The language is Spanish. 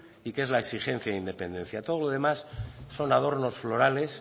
y que es la exigencia de independencia todo lo demás son adornos florales